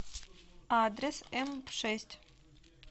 адрес эмшесть